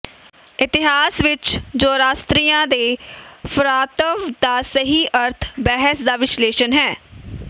ਇਤਿਹਾਸ ਵਿਚ ਜ਼ੋਰਾਸਤਰੀਆ ਦੇ ਫਰਾਤਵ ਦਾ ਸਹੀ ਅਰਥ ਬਹਿਸ ਦਾ ਵਿਸ਼ਲੇਸ਼ਣ ਹੈ